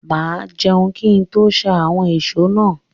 Mà á jẹun kí n tó ṣá àwọn ìṣó náà.